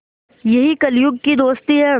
यही कलियुग की दोस्ती है